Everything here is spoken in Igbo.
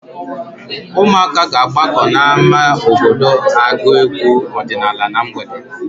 Ụmụaka ga-agbakọ n'ámá obodo agụ egwu ọdịnaala na mgbede.